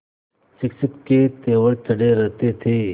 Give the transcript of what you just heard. शिक्षक के तेवर चढ़े रहते थे